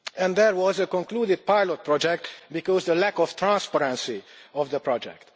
That was a concluded pilot project because of the lack of transparency of the project.